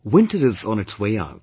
Winter is on its way out